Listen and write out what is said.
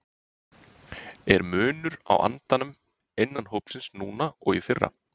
Er munur á andanum innan hópsins núna og í fyrra?